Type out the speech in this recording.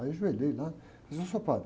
Aí eu ajoelhei lá e disse, ôh, seu padre.